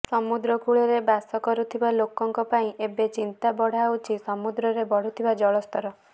ସମୁଦ୍ରକୂଳରେ ବାସ କରୁଥିବା ଲୋକଙ୍କ ପାଇଁ ଏବେ ଚିନ୍ତା ବଢାଉଛି ସମୁଦ୍ରରେ ବଢୁଥିବା ଜଳ ସ୍ତର